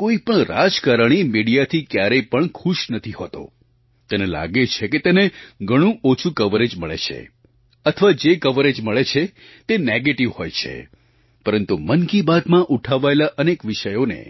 કોઈ પણ રાજકારણી મિડિયાથી ક્યારેય પણ ખુશ નથી હોતો તેને લાગે છે કે તેને ઘણું ઓછું કવરેજ મળે છે અથવા જે કવરેજ મળે છે તે નેગેટિવ હોય છે પરંતુ મન કી બાતમાં ઉઠાવાયેલા અનેક વિષયોને